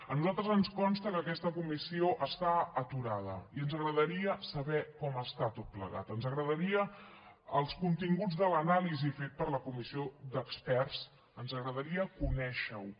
a nosaltres ens consta que aquesta comissió està aturada i ens agradaria saber com està tot plegat ens agradarien els continguts de l’anàlisi fet per la comissió d’experts ens agradaria conèixerho